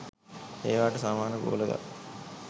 ඒවාට සමාන බෝල ගල්